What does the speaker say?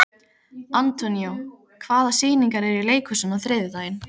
Antonio, hvaða sýningar eru í leikhúsinu á þriðjudaginn?